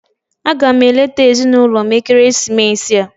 Aga m eleta ezinụlọ m ekeresimesi a.